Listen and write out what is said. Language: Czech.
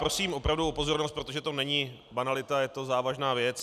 Prosím opravdu o pozornost, protože to není banalita, je to závažná věc.